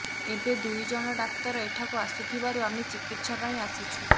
ଏବେ ଦୁଇ ଜଣ ଡାକ୍ତର ଏଠାକୁ ଆସୁଥିବାରୁ ଆମେ ଚିକିତ୍ସା ପାଇଁ ଆସିଛୁ